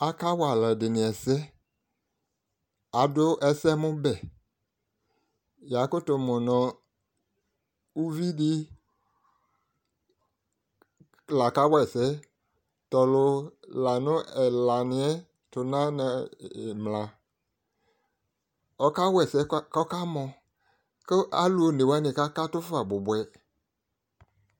Akawa alʋɛdɩnɩ ɛsɛ Adʋ ɛsɛmʋbɛ, yakʋtʋ mʋ nʋ uvidɩ laka wa ɛsɛ, t'ɔlʋ la nʋ ɛlaniyɛ tʋ n'anɩmla Ɔka wa ɛsɛ k'ɔka mɔ kʋ alʋ onewanɩ kakatʋ fa bʋbʋɛd